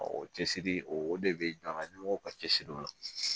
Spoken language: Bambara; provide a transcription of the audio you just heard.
o cɛsiri o de be an ga ɲɛmɔgɔ ka cɛsiri o la